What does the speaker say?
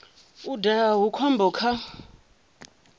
u daha hu khombo kha